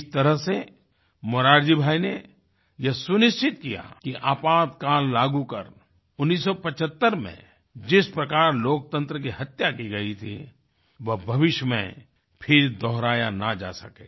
इस तरह से मोरारजी भाई ने यह सुनिश्चित किया कि आपातकाल लागू कर 1975 में जिस प्रकार लोकतंत्र की हत्या की गई थी वह भविष्य में फिर दोहराया ना जा सके